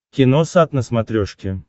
киносат на смотрешке